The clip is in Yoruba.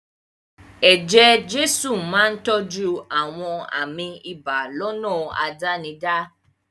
Eje-jesu máa ń tọ́jú àwọn àmì ibà lọ́nà àdánidá.